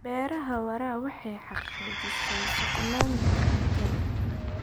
Beeraha waara waxay xaqiijisaa sugnaanta cuntada.